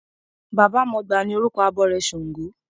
Baba mọgbà ni orúkọ abọrẹ̀ ṣàngó.